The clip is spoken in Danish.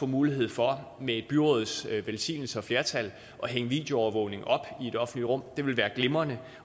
mulighed for med et byråds velsignelse og flertal at hænge videoovervågning op i det offentlige rum det ville være glimrende